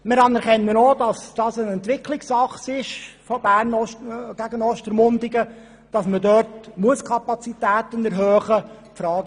Wir anerkennen auch, dass es sich zwischen Bern und Ostermundigen um eine Entwicklungsachse handelt und die Kapazitäten dort erhöht werden müssen.